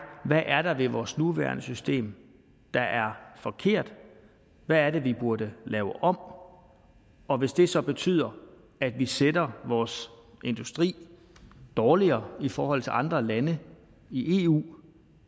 hvad er der ved vores nuværende system der er forkert hvad er det vi burde lave om og hvis det så betyder at vi stiller vores industri dårligere i forhold til andre lande i eu